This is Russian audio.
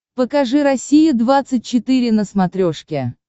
покажи россия двадцать четыре на смотрешке